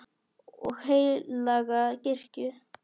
og heilaga kirkju